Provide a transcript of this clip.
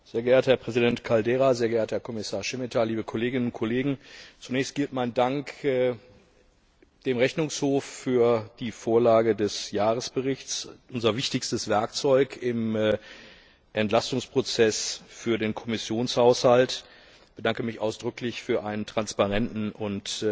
Sehr geehrter Herr Präsident Caldeira, sehr geehrter Herr Kommissar Šemeta, liebe Kolleginnen und Kollegen! Zunächst gilt mein Dank dem Rechnungshof für die Vorlage des Jahresberichts, unser wichtigstes Werkzeug im Entlastungsprozess für den Kommissionshaushalt. Ich bedanke mich ausdrücklich für einen transparenten und